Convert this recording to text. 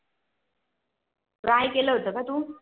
Try केलं होत का तू